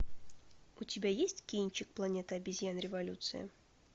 у тебя есть кинчик планета обезьян революция